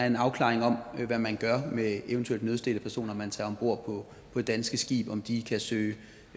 en afklaring om hvad man gør med eventuelt nødstedte personer som man tager om bord på det danske skib og om de kan søge